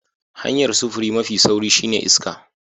Hanya'n safuri mafi sauri shine ta iska.